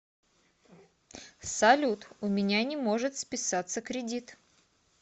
салют у меня не может списаться кредит